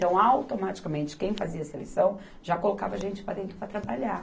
Então, automaticamente, quem fazia seleção já colocava a gente para dentro para trabalhar.